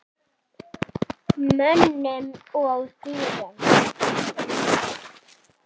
Mönnum og dýrum.